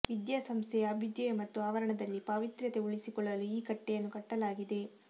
ವಿದ್ಯಾಸಂಸ್ಥೆಯ ಅಭ್ಯುದಯ ಮತ್ತು ಆವರಣದಲ್ಲಿ ಪಾವಿತ್ರ್ಯತೆ ಉಳಿಸಿಕೊಳ್ಳಲು ಈ ಕಟ್ಟೆಯನ್ನು ಕಟ್ಟಲಾಗಿದೆ